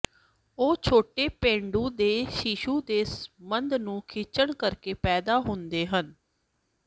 ਉਹ ਛੋਟੇ ਪੇਡੂ ਦੇ ਸ਼ੀਸ਼ੂ ਦੇ ਸੰਦ ਨੂੰ ਖਿੱਚਣ ਕਰਕੇ ਪੈਦਾ ਹੁੰਦੇ ਹਨ